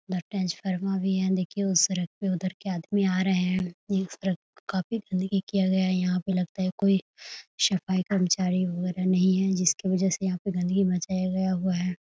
यहाँ ट्रांसफार्मर है देखिए उस सड़क पे उधर के आदमी आ रहे है इस सड़क पे काफ़ी गन्दगी किया है लगता है यहाँ पे कोई सफाई कर्मचारी वगैरह नही है जिस की वजह से यहाँ गंदगी मचाया गया हुआ है ।